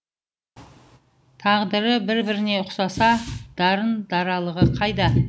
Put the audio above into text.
тағдыры бір біріне ұқсаса дарын даралығы қайда